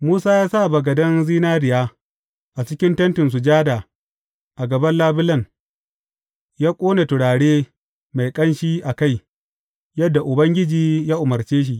Musa ya sa bagaden zinariya a cikin Tentin Sujada a gaban labulen ya ƙone turare mai ƙanshi a kai, yadda Ubangiji ya umarce shi.